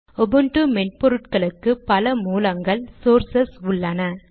Ubuntu மென்பொருட்களுக்கு பல மூலங்கள் சோர்சஸ் உள்ளன